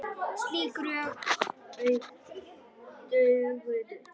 Slík rök dugðu.